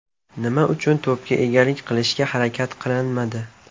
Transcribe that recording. Nima uchun to‘pga egalik qilishga harakat qilinmadi?